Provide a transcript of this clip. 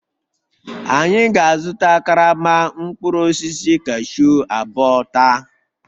Anyị ga-azụta karama mkpụrụ osisi cashew abụọ taa